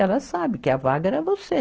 Ela sabe que a vaga era você.